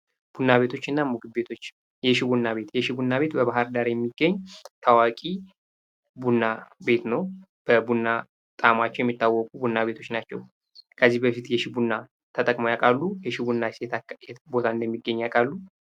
ቡና ቤቶችና ምግብ ቤቶች የሺ ቡና ቤት በባህር ዳር የሚገኝ ታዋቂ ቡና ቤት ነው። በቡና ጣዕማቸው የሚታወቁ ቤቶች ናቸው። ከዚህ በፊት የሺ ቡና ተጠቅመው ያውቃሉ? የሺ ቡናስ የት ቦታ እንደሚገኝ ያቃሉ?